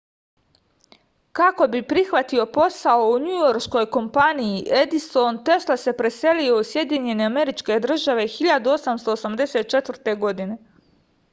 kako bi prihvatio posao u njujorškoj kompaniji edison tesla se preselio u sjedinjene američke države 1884. godine